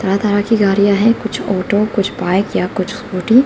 तरह तरह की गाड़ियां है कुछ ऑटो कुछ बाइक या कुछ स्कूटी ।